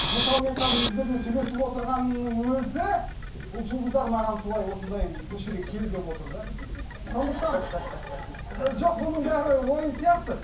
мысалы мен қазір сіздермен сөйлесіп отырғанымның өзі бұл жұлдыздар маған солай осындай осы жерге кел деп отыр да сондықтан жоқ бұның бәрі ойын сияқты